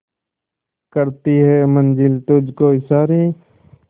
करती है मंजिल तुझ को इशारे